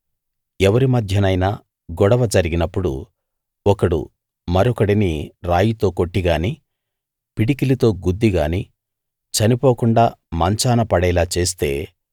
ఎవరి మధ్యనైనా గొడవ జరిగినప్పుడు ఒకడు మరొకడిని రాయితో కొట్టి గానీ పిడికిలితో గుద్దిగానీ చనిపోకుండా మంచాన పడేలా చేస్తే